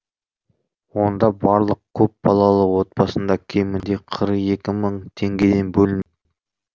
онда барлық көп балалы отбасында кемінде қырық екі мың теңгеден бөлініп